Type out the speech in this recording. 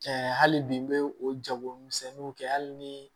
Cɛ hali bi n bɛ o jagomisɛnninw kɛ hali ni